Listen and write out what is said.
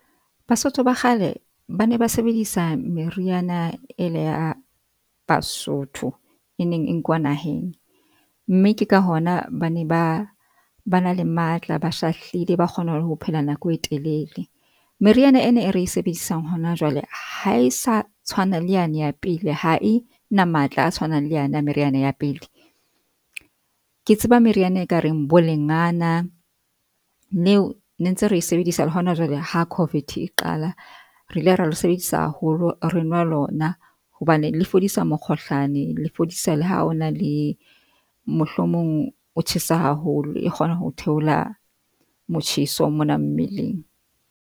Basotho ba kgale ba ne ba sebedisa meriana ena ya Basotho e neng e nkuwa naheng mme ke ka hona bane ba ba na le matla, ba shahlile ba kgona le ho phela nako e telele. Meriana ena e re e sebedisang hona jwale. Ha e sa tshwana le yane ya pele, ha e na matla a tshwanang le yane ya meriana ya pele. Ke tseba meriana e kareng bo lengana. Leo ne ntse re sebedisa le hona jwale ha COVID e qala, re ile ra le sebedisa haholo re nwa lona hobane le fodisa mokgohlane le fodisa le ha o na le mohlomong o tjhesa haholo, e kgona ho theola motjheso mona mmeleng.